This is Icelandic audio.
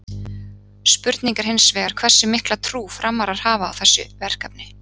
Spurning er hins vegar hversu mikla trú Framarar hafa á þessu verkefni?